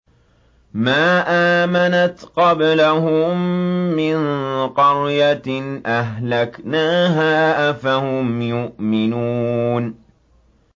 مَا آمَنَتْ قَبْلَهُم مِّن قَرْيَةٍ أَهْلَكْنَاهَا ۖ أَفَهُمْ يُؤْمِنُونَ